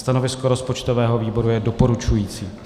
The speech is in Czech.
Stanovisko rozpočtového výboru je doporučující.